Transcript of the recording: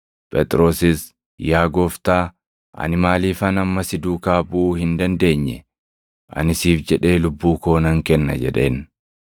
Phexrosis, “Yaa Gooftaa, ani maaliifan amma si duukaa buʼuu hin dandeenye? Ani siif jedhee lubbuu koo nan kenna” jedheen.